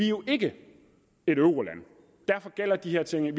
jo ikke et euroland derfor gælder de her ting